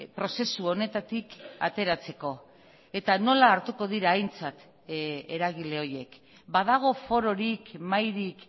prozesu honetatik ateratzeko eta nola hartuko dira aintzat eragile horiek badago fororik mahairik